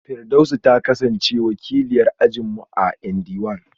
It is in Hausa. Firdausi ta kasance wakiliyar ajin mu a ND one